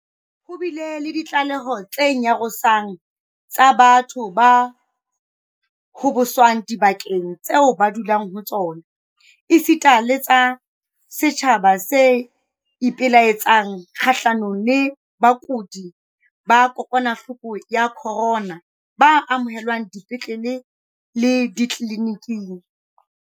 Ho bile le ditlaleho tse nyarosang tsa batho ba hoboswang dibakeng tseo ba dulang ho tsona, esita le tsa setjhaba se ipelaetsang kgahlanong le bakudi ba kokwanahloko ya corona ba amohelwang dipetleleng le ditleli-niking.